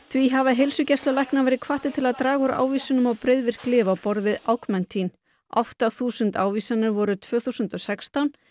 því hafa heilsugæslulæknar verið hvattir til að draga úr ávísunum á breiðvirk lyf á borð við átta þúsund ávísanir voru tvö þúsund og sextán